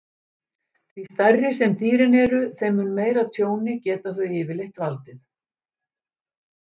Því stærri sem dýrin eru, þeim mun meira tjóni geta þau yfirleitt valdið.